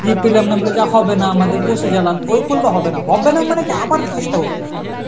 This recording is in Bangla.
দিয়ে পেলাম না বলে যে আর হবেনা আমাদের বসে গেলাম ও করলে হবে না, হবে না মানে কি আবার চেষ্টা করতে হবে.